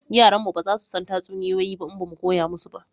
Yaran mu ba za su san tatsuniyoyi ba in ba mu koya musu ba